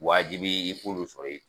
Waajibi i k'ulo sɔrɔ yen